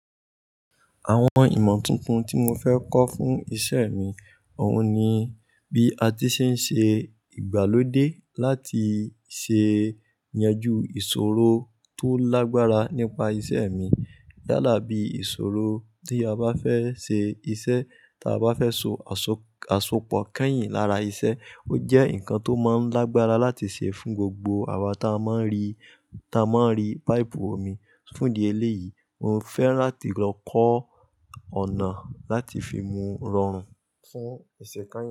Àwọn ìmọ̀ tuntun tí mo fẹ́ kọ́ fún iṣẹ́ mi, òun ni bí a ti ṣe ń ṣe ìgbàlódé láti ṣe ìyanjú ìṣòro tó lágbára nípa iṣẹ́ mi. Yàlá bí ìṣòro tí a bá fẹ́ ṣe iṣẹ́ ta bá fẹ́ so àsopọ̀ kẹ́yìn lára iṣẹ́, ó jẹ́ nǹkan tó máa ń lágbára láti ṣe fún gbogbo àwa táa máa ń rí táa máa ń rí páìpù omi fún ìdí eléyìí. Mo fẹ́ láti lọ kọ́ ọ̀nà láti fi mú rọrùn fún iṣẹ́ kányìn.